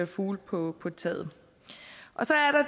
fugle på på taget så